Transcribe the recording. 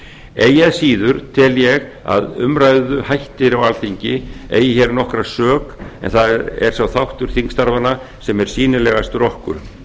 eigi að síður tel ég að umræðuhættir á alþingi eigi hér nokkra sök en það er sá þáttur þingstarfanna sem er sýnilegastur okkur